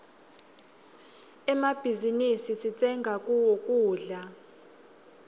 emmabhizinisi sitsenga kuwo kudla